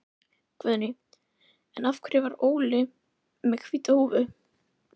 En hvers vegna gerði bankinn þetta samkomulag við stjórnendurna?